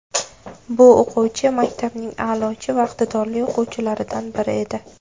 Bu o‘quvchi maktabning a’lochi va iqtidorli o‘quvchilaridan biri edi.